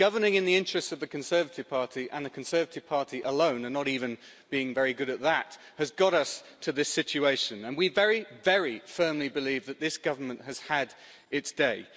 Governing in the interests of the Conservative Party, and the Conservative Party alone and not even being very good at that has got us to this situation and we very firmly believe that this government has had its day.